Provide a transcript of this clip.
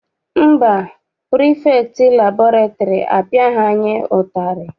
Mba, pirifektị liburary apiaghi anyị ụtarị.